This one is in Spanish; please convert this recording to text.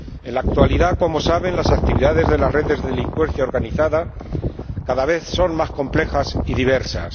En la actualidad, como saben, las actividades de las redes de delincuencia organizada cada vez son más complejas y diversas...